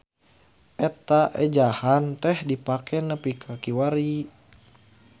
Eta ejahan teh dipake nepi ka kiwari.